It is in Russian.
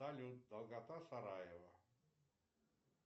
салют долгота сараево